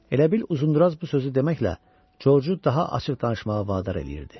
Elə bil Uzunduraz bu sözü deməklə Georgeu daha açıq danışmağa vadar eləyirdi.